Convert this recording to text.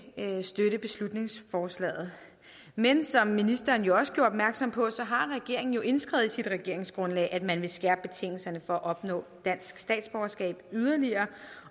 støtte beslutningsforslaget men som ministeren jo også gjorde opmærksom på har regeringen indskrevet i sit regeringsgrundlag at man vil skærpe betingelserne for at opnå dansk statsborgerskab yderligere